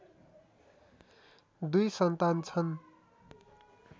दुई सन्तान छन्